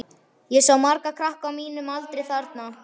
Ég sá marga krakka á mínum aldri þarna.